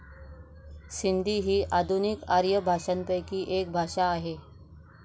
सिंधी ही आधुनिक आर्य भाषांपैकी एक भाषा आहे